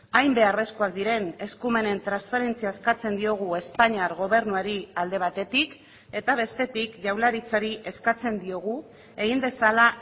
hain beharrezkoak diren eskumenen transferentzia eskatzen diogu espainiar gobernuari alde batetik eta bestetik jaurlaritzari eskatzen diogu egin dezala